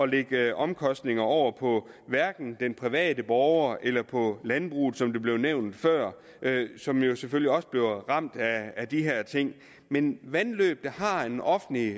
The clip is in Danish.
lægge omkostninger over på den private borger eller på landbruget som det blev nævnt før som jo selvfølgelig også bliver ramt af de her ting men vandløb der har en offentlig